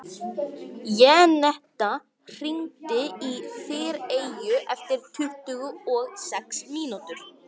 Jenetta, hringdu í Þyreyju eftir tuttugu og sex mínútur.